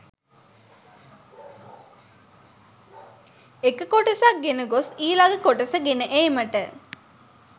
එක කොටසක් ගෙන ගොස් ඊළඟ කොටස ගෙන ඒමට